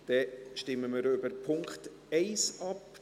– Dann stimmen wir über den Punkt 1 ab.